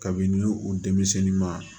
Kabini u denmisɛnnin ma